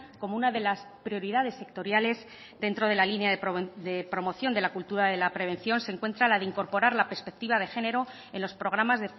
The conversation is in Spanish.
como una de las prioridades sectoriales dentro de la línea de promoción de la cultura de la prevención se encuentra la de incorporar la perspectiva de género en los programas